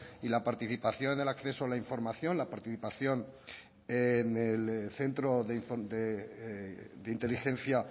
y la participación del acceso a la información la participación en el centro de inteligencia